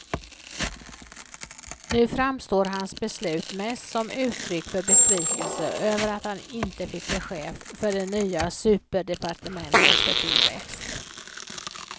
Nu framstår hans beslut mest som uttryck för besvikelse över att han inte fick bli chef för det nya superdepartementet för tillväxt.